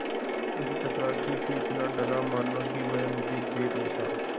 इस चपरासी से इतना डरा मानो कि वह मुझे देख लेता